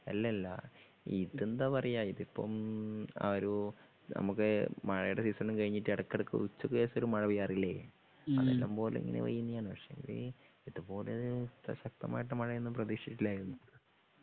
അല്ലല്ല ഇതെന്താ പറയാ ഇത് ഇപ്പം ആ ഒരു നമുക്ക് മഴയുടെ സീസണും കഴിഞ്ഞിട്ട് ഇടയ്ക്ക്ഇടയ്ക്ക് ഉച്ചയ്ക്ക് ശേഷം ഒരു മഴ പെയ്യാറില്ലേ? അത് ഇഷ്ടം പോലെ ഇങ്ങനെ പെയ്യുന്നെ ആണ്. പക്ഷേ എങ്കില് ഇത് പോലെ ശക്തമായിട്ടുള്ള മഴ ഒന്നും പ്രതീക്ഷിച്ചിട്ടില്ലായിരുന്നു.